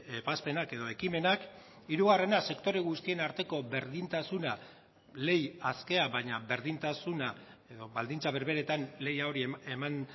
ebazpenak edo ekimenak hirugarrena sektore guztien arteko berdintasuna lehia askea baina berdintasuna edo baldintza berberetan lehia hori eman